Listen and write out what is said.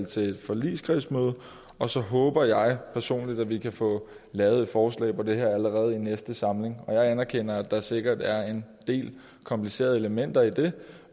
til et forligskredsmøde og så håber jeg personligt at vi kan få lavet et forslag om det her allerede i næste samling jeg anerkender at der sikkert er en del komplicerede elementer i det